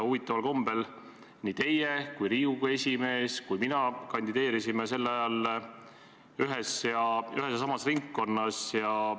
Huvitaval kombel nii teie, Riigikogu esimees kui ka mina kandideerisime sel ajal ühes ja samas ringkonnas.